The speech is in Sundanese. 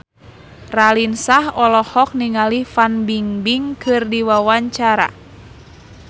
Raline Shah olohok ningali Fan Bingbing keur diwawancara